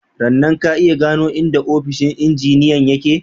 Rannan, ka iya gano inda ofishin injiniyan ya ke?/